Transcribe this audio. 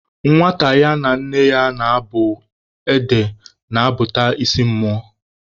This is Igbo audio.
Nwata ya na nne ya na-abụ ede na-abụta isi mmụọ